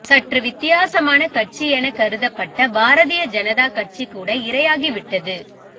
சற்று வித்தியாசமான கட்சி எனக் கருதப்பட்ட பாரதிய ஜனதா கட்சிகூட இரையாகி விட்டது